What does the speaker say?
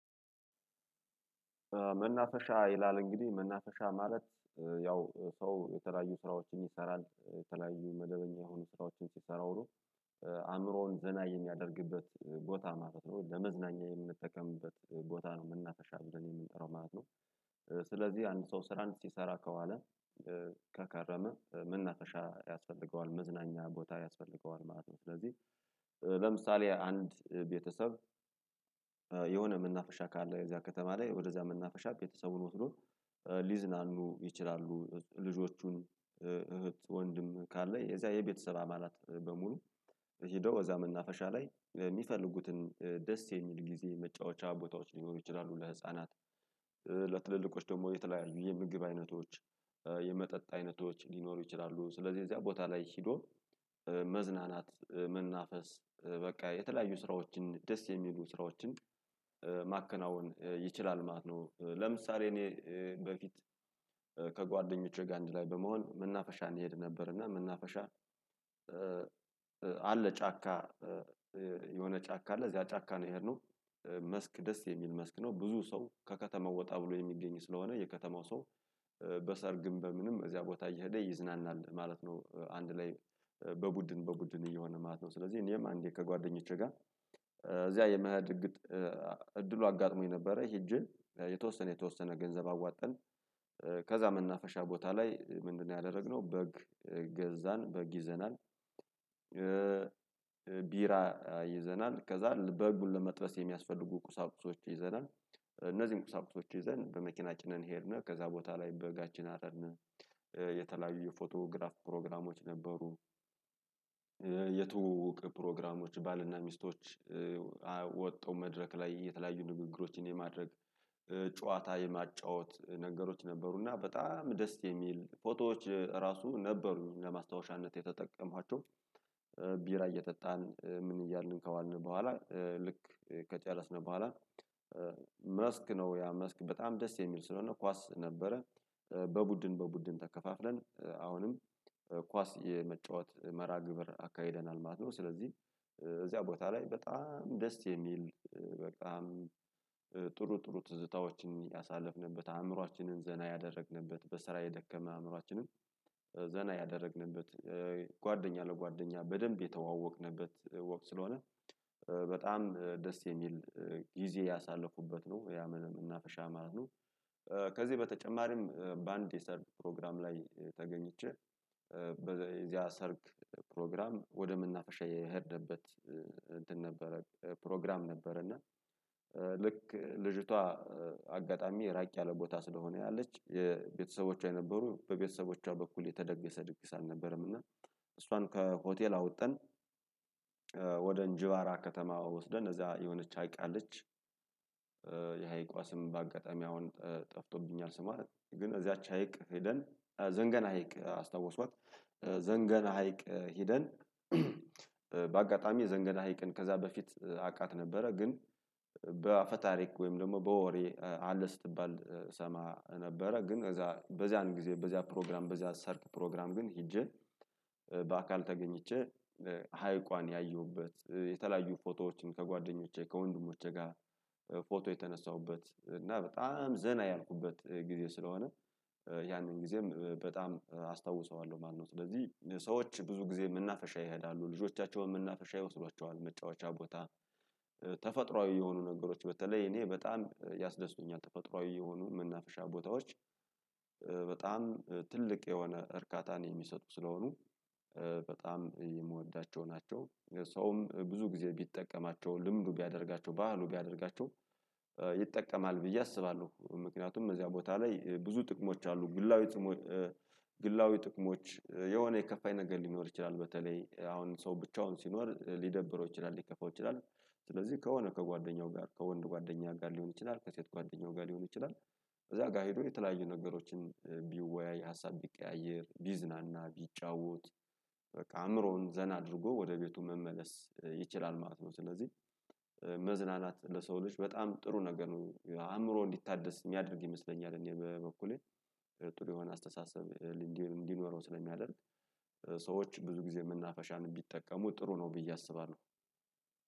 መናፈሻ ይላል እንግዲህ መናፈሻ ማለት ያው ሰው የተለያዩ ስራዎችን ይሰራል የተለያዩ መደበኛ የሆኑ ስራዎችን ሲሰራ ውሎ አእምሮውን ዘና የሚያደርግበት ቦታ ማለት ነው ለመዝናኛ የምንጠቀምበት ቦታ ነው የምናፈሻ ብለን የምንጠራው ማለት ነው። ስለዚህ አንድ ሰው ስራን ሲሰራ ከዋለ ከከረመ መናፈሻ ያስፈልገዋል መዝናኛ ቦታ ያስፈልገዋል ማለት ነው። ስለዚህ ለምሳሌ አንድ ቤተሰብ የሆነ መናፈሻ ካለ የዚያ ከተማ ላይ ወደዛ መናፈሻ ቤተሰቡን ወስዶ ሊዝናኑ ይችላሉ ልጆቹን እህት ወንድም ካለ የዛ የቤተሰብ አባላት በሙሉ ሄደው እዛ መናፈሻ ላይ የሚፈልጉትን ደስ የሚል ጊዜ መጫወቻ ቦታዎች ሊኖሩ ይችላሉ ለህፃናት ለትልልቆች ደግሞ የተለያዩ የምግብ አይነቶች የመጠጥ አይነቶች ሊኖሩ ይችላሉ ስለዚህ የዚያ ቦታ ላይ ሄዶ መዝናናት መናፈስ በቃ የተለያዩ ስራዎችን ደስ የሚሉ ስራዎችን ማከናወን ይችላል ማለት ነው። ለምሳሌ እኔ በፊት ከጓደኞቼ ጋር አንድ ላይ በመሆን የምናፈሻ እንሄድ ነበር። እና የምናፈሻ አለ ጫካ የሆነ ጫካ አለ እዚያ ጫካ ነው የሄድነው። መስክ ደስ የሚል መስክ ነው ብዙ ሰው ከከተማው ወጣ ብሎ የሚገኝ ስለሆነ የከተማው ሰው በሰርግም በምንም እዚያ ቦታ እየሄደ ይዝናናል ማለት ነው። አንድ ላይ በቡድን በቡድን እየሆነ ማለት ነው ስለዚህ እኔም አንዴ ከጓደኞቼ ጋር እዚያ የመሄድ እድሉ አጋጥሞኝ ነበረ። ሂጄ የተወሰነ የተወሰነ ገንዘብ አዋተን ከዛ መናፈሻ ቦታ ላይ ምንድነው? ያደረግነው በግ ገዛን በግ ይዘናል። ቢራ ይዘናል ከዛ በጉን ለመጥበስ የሚያስፈልጉ ቁሳቁሶች ይዘናል እነዚህን ቁሳቁሶች ይዘን በመኪና ጭነን ሄድነህ ከዛ ቦታ ላይ በጋችን አረድን የተለያዩ የፎቶግራፍ ፕሮግራሞች ነበሩ። የትውውቅ ፕሮግራሞች ባልና ሚስቶች ወጥቶ መድረክ ላይ የተለያዩ ንግግሮችን የማድረግ ጨዋታ የማጫወት ነገሮች ነበሩና በጣም ደስ የሚል ፎቶዎች ራሱ ነበሩኝ ለማስታወሻነት የተጠቀሟቸው። ቢራ እየጠጣን ምን እያልን ከዋልን በኋላ ልክ ከጨረስነው በኋላ መስክ ነው ያ መስክ በጣም ደስ የሚል ስለሆነ ኳስ ነበረ። በቡድን በቡድን ተከፋፍለን አሁንም ኳስ የመጫወት መራ ግብር አካሂደናል ማለት ነው። ስለዚህ እዚያ ቦታ ላይ በጣም ደስ የሚል በጣም ጥሩ ጥሩ ትዝታዎችን ያሳለፍንበት አእምሮአችንን ዘና ያደረግንበት በስራ የደከመ አእምሮአችንን ዘና ያደረግንበት ጓደኛ ለጓደኛ በደንብ የተዋወቅንበት ወቅት ስለሆነ በጣም ደስ የሚል ጊዜ ያሳለፉበት ነው ያ ምን መናፈሻ ማለት ነው። ከዚህ በተጨማሪም በአንድ የሰርግ ፕሮግራም ላይ ተገኝቼ በዚያ ሰርግ ፕሮግራም ወደምናፍሻ የሄደንበት እንትን ነበረ ፕሮግራም ነበረ። እና ልክ ልጅቷ አጋጣሚ ራቅ ያለ ቦታ ስለሆነ ያለች የቤተሰቦቿ የነበሩ በቤተሰቦቿ በኩል የተደገሰ ድግስ አልነበረም። እና እሷን ከሆቴል አወጣን ወደ እንጂባራ ከተማ ወስደን እነዛ የሆነች ሀይቅ አለች። የሀይቋስም በአጋጣሚ አሁን ጠፍቶብኛል ስሟ ግን እዛች ሀይቅ ሄደን ዘንገና ሀይቅ አስታውስዋት ዘንገና ሀይቅ ሄደን የዘንገዳ ሀይቅን ከዛ በፊት አቃት ነበረ። ግን በአፈ ታሪክ ወይም ደግሞ በወሬ አለ ስትባል ሰማ ነበረ። ግን እዛ በዚያን ጊዜ በዚያ ፕሮግራም በዚያ ሰርግ ፕሮግራም ግን ሄጄ በአካል ተገኝቼ ሀይቋን ያየሁበት የተለያዩ ፎቶዎችን ከጓደኞቼ ከወንድሞቼ ጋር ፎቶ የተነሳሁበት እና በጣም ዘና ያልኩበት ጊዜ ስለሆነ። ያንን ጊዜም በጣም አስታውሰዋለሁ። ማለነው ስለዚህ ሰዎች ብዙ ጊዜ መናፈሻ ይሄዳሉ ልጆቻቸውን ምናፍሻ ይወስዷቸዋል መጫወቻ ቦታ ተፈጥሮአዊ የሆኑ ነገሮች በተለይ እኔ በጣም ያስደስቱኛል። ተፈጥሮአዊ የሆኑ መናፈሻ ቦታዎች በጣም ትልቅ የሆነ እርካታን የሚሰጡ ስለሆኑ በጣም የምወዳቸው ናቸው። ሰውም ብዙ ጊዜ ቢጠቀማቸው ልምዱ ቢያደርጋቸው ባህሉ ቢያደርጋቸው ይጠቀማል ብዬ አስባለሁ። ምክንያቱም እዚያ ቦታ ላይ ብዙ ጥቅሞች አሉ። ግላዊ ግላዊ ጥቅሞች የሆነ የከፋኝ ነገር ሊኖር ይችላል በተለይ አሁን ሰው ብቻውን ሲኖር ሊደብረው ይችላል ሊከፋው ይችላል። ስለዚህ ከሆነ ከጓደኛው ጋር ከወንድ ጓደኛ ጋር ሊሆን ይችላል። ከሴት ጓደኛው ጋር ሊሆን ይችላል። ከዛ ጋር ሄዶ የተለያዩ ነገሮችን ቢወያይ ሀሳብ ቢቀያየር ቢዝናና ቢጫወት በቃ አእምሮውን ዘና አድርጎ ወደ ቤቱ መመለስ ይችላል ማለት ነው። ስለዚህ መዝናናት ለሰው ልጅ በጣም ጥሩ ነገር ነው። አእምሮ እንዲታደስ የሚያደርግ ይመስለኛል። እኔ በበኩሌ ጥሩ የሆነ አስተሳሰብ እንዲህ እንዲኖረው ስለሚያደርግ ሰዎች ብዙ ጊዜ ምናፈሻን ቢጠቀሙ ጥሩ ነው ብዬ አስባለሁ።